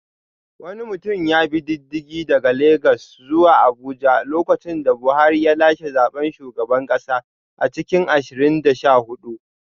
Wani mutum ya bi diddigi daga Legas zuwa Abuja lokacin da Buhari ya lashe zaben shugaban kasa a cikin ashirin da sha hudu